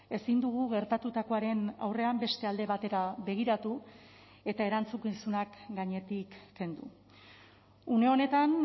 ezin dugu gertatutakoaren aurrean beste alde batera begiratu eta erantzukizunak gainetik kendu une honetan